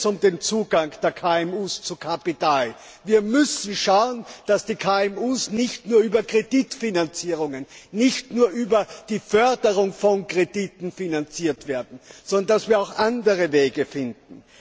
Hier geht es um den Zugang der KMU zu Kapital. Wir müssen schauen, dass die KMU nicht nur über Kreditfinanzierungen und nicht nur über die Förderung von Krediten finanziell unterstützt werden, sondern dass wir auch andere Wege finden.